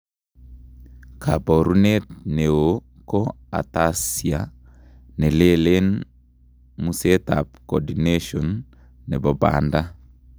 Kaboruneet neoo ko ataxia nelelen museetab cordination nebo baanda